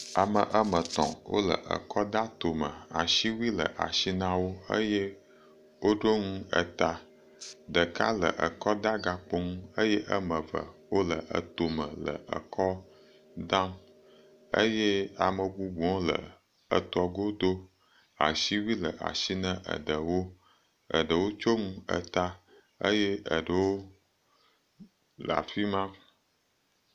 Ame ame etɔ̃, wole ekɔ da eto me, asiwui le asi na wo eye woɖo ŋu eta, ɖeka le ekɔdagakpo ŋu eye woame eve wole eto me le ekɔ dam, eye ame bubuwo le eto godo, asiwui le asi ne eɖewo, eɖewo tsyɔ ŋu eta eye eɖewo le afi ma.